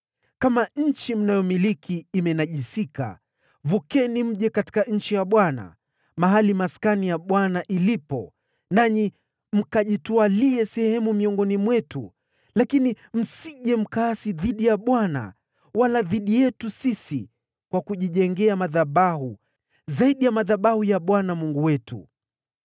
Kama nchi mnayomiliki imenajisika, vukeni mje katika nchi ya Bwana , mahali Maskani ya Bwana ilipo, nanyi mkajitwalie sehemu miongoni mwetu, lakini msije mkaasi dhidi ya Bwana wala dhidi yetu sisi kwa kujijengea madhabahu, zaidi ya madhabahu ya Bwana Mungu wetu.